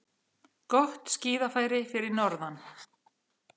Gott skíðafæri fyrir norðan